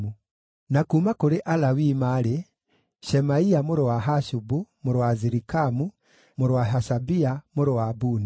Na kuuma kũrĩ Alawii maarĩ: Shemaia mũrũ wa Hashubu, mũrũ wa Azirikamu, mũrũ wa Hashabia, mũrũ wa Buni;